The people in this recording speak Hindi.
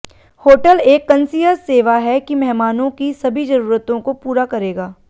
होटल एक कंसीयज सेवा है कि मेहमानों की सभी जरूरतों को पूरा करेगा